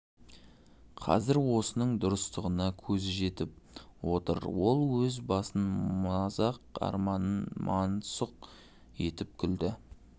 қазір осының дұрыстығына көзі жетіп отыр ол өз басын мазақ арманын мансұқ етіп күлді